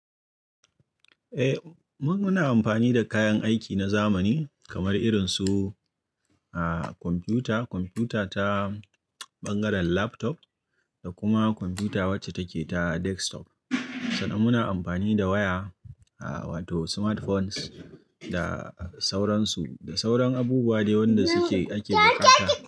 Eh, mun muna amfani da kayan aiki na zamani kamar irinsu, ah, kwamfuta, kwamfuta ta bangaren laptop da kuma kwamfuta wacce take ta desktop. Sannan muna amfani da waya, ah wato smartphones da sauransu. Da sauran abubuwa ne wanda suke ake bukata.